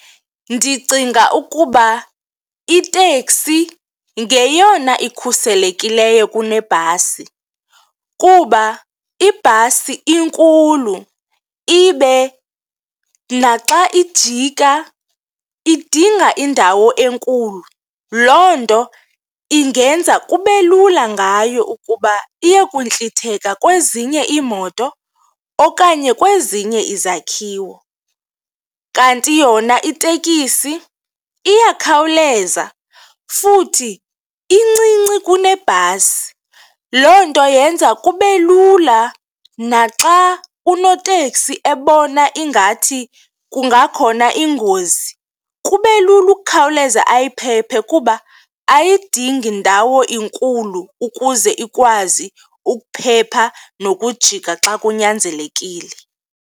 Ndicinga ukuba itekisi ngeyona ikhuselekileyo kunebhasi kuba ibhasi inkulu ibe naxa ijika idinga indawo enkulu, loo nto ingenza kube lula ngayo ukuba iyekuntlitheka kwezinye iimoto okanye kwezinye izakhiwo. Kanti yona itekisi iyakhawuleza futhi incinci kunebhasi, loo nto yenza kube lula naxa unoteksi ebona ingathi kungakhona ingozi kube lula ukukhawuleza ayiphephe kuba ayidingi ndawo inkulu ukuze ikwazi ukuphepha nokujika xa kunyanzelekile.